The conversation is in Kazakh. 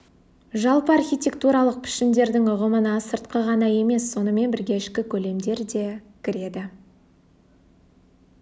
жалпы архитектуралық пішіндердің ұғымына сыртқы ғана емес сонымен бірге ішкі көлемдер де кіреді